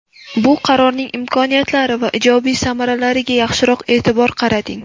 Bu qarorning imkoniyatlari va ijobiy samaralariga yaxshiroq e’tibor qarating.